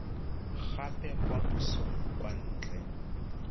gape kwa pusong kwa ntle